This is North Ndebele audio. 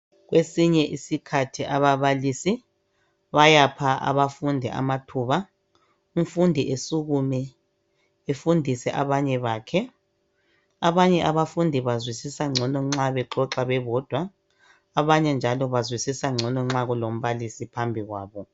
Kwesinye isikhathi ababalisi bayapha abafundi amathuba umfundi asukume afundise abanye bakhe, abanye abafundi bazwisisa ngcono nxa bexoxa bebodwa abanye njalo bazwisisa ngcono nxa kulombalisi phambi kwabo